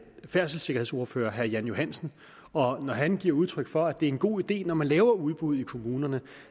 færdselssikkerhedsordfører herre jan johansen og når han giver udtryk for at det er en god idé når man laver udbud i kommunerne